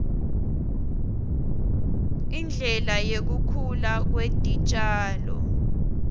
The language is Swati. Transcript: indlela yekukhula kwetitjalo